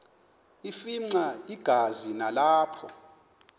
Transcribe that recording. afimxa igazi nalapho